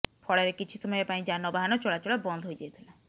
ଫଳରେ କିଛି ସମୟ ପାଇଁ ଯାନବାହାନ ଚଳାଚଳ ବନ୍ଦ ହୋଇଯାଇଥିଲା